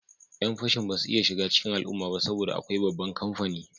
Yan fashin ba su iya shiga cikin al'umma ba saboda akwai babban kamfani